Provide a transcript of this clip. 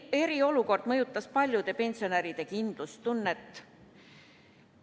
Eriolukord mõjutas paljude pensionäride kindlustunnet.